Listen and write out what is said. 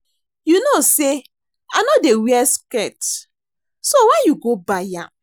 You know say I no dey wear skirt so why you go buy am